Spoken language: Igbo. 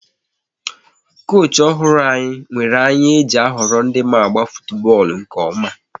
Koochi ọhụrụ anyị nwere anya e ji a họrọ ndị ma agba futubọọlụ nke ọma